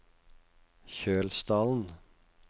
Kjølsdalen